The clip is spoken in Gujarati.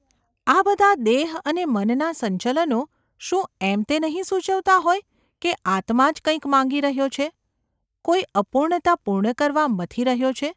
આ બધાં દેહ અને મનનાં સંચલનો શું એમ તે નહિ સૂચવતાં હોય કે આત્મા જ કંઈક માંગી રહ્યો છે, કોઈ અપૂર્ણતા પૂર્ણ કરવા મથી રહ્યો છે?